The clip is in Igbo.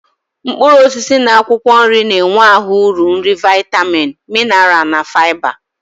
Mkpuruosisi na akwokwo nri na-enwe ahu uru nri viatamin, minaral na fiaba